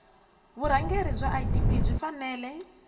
vurhangeri bya idp yi fanele